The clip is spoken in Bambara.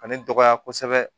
Ani dɔgɔya kosɛbɛ